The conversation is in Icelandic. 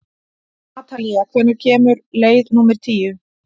Atalía, hvenær kemur leið númer tíu?